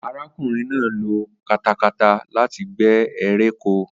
Arákùnrin náà lo katakata láti gbé eré oko